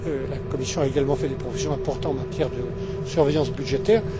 La Commission a également fait des propositions importantes en matière de surveillance budgétaire.